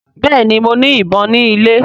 Béèni mọ ní ìbọn ni ilè.